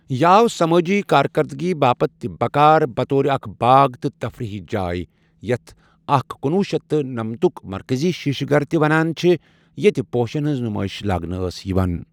یہِ آو سمٲجی كاركردگی باپتھ تہِ بكار بطور اكھ باغ تہٕ تفریحی جاے، یتھ اكھ کُنوُہ شیٚتھ تہٕ نمتک مركزی شیشہ گھر تہِ ونان چھِ ، ییتہِ پوشن ہنز نمٲیش لاگنہٕ ٲس یوان۔